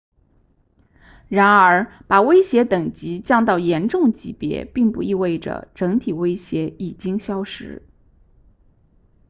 然而把威胁等级降到严重级别并不意味着整体威胁已经消失